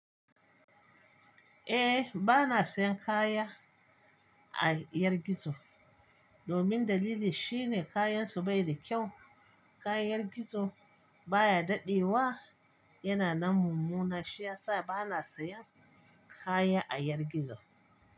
Eh bana sayan kaya a 'yar gizo domin dalili shine kayansu bai da kyau. Kayan gizo baya dadewa, yana nan mummuna shi yasa bana sayan kaya a 'yar gizo.